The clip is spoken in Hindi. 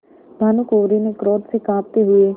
भानुकुँवरि ने क्रोध से कॉँपते हुए